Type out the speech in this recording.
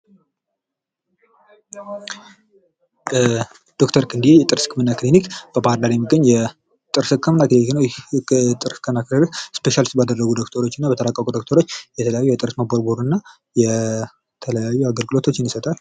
ዶክተር ክንድየ የጥርስ ክኒሊክ በባህርዳር የሚገኝ የጥርስ ህክምና ክኒሊክ ይህ የጥርስ ህክምና ክኒሊክ ስፔሻሊስት ባደረጉ ዶክተሮች እና በተራቀቁ ዶክተሮች የተለያዩ የጥርስ መቦርቦር እና የተለያዩ አገልግሎቶችን ይሰጣል።